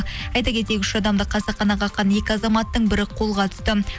айта кетейік үш адамды қасақана қаққан екі азаматтың бірі қолға түсті